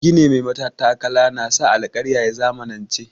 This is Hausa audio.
Gini mai matattakala na sa alkarya ya zamanance.